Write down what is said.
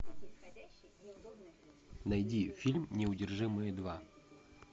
найди фильм неудержимые два